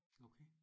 Okay